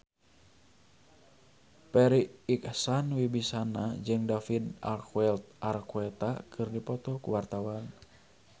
Farri Icksan Wibisana jeung David Archuletta keur dipoto ku wartawan